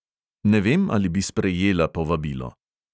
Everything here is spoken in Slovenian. Ne vem, ali bi sprejela povabilo.